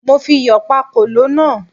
Mo fi iyọ̀ pá kòló náà